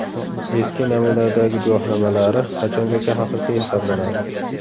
Eski namunadagi guvohnomalari qachongacha haqiqiy hisoblanadi?